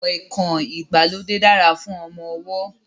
Kọ̀ìnkọ̀ìn ìgbàlódé dára fún ọmọ ọwọ́